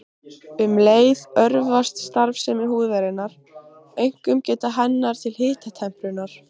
Um leið örvast starfsemi húðarinnar, einkum geta hennar til hitatemprunar.